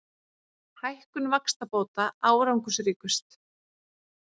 Hækkun vaxtabóta árangursríkust